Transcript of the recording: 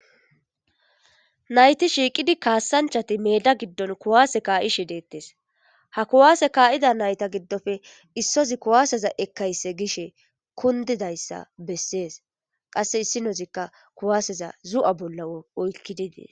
nayti shiiqidi kaassanchati meda giddon kuwaase kaa7ishe deettes ha kuwaase kaa7ida nayta giddofe issozi kuwaaseza ekkayse gishe kundidayssa bessees qasse issinoozikka kuwaaseza zu7a bolla oykkidi dees